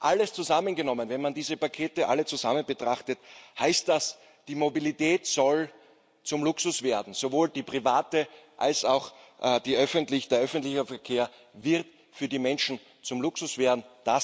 Alles zusammengenommen, wenn man diese Pakete alle zusammen betrachtet, heißt das, die Mobilität soll zum Luxus werden, sowohl die private als auch der öffentliche Verkehr wird für die Menschen zum Luxus werden.